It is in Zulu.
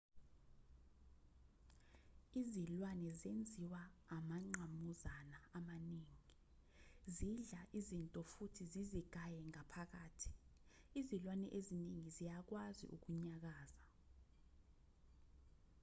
izilwane zenziwa amangqamuzana amaningi zidla izinto futhi zizigaye ngaphakathi izilwane ezingi ziyakwazi ukunyakaza